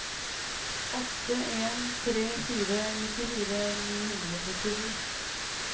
åtte en tre fire nittifire ni hundre og trettisju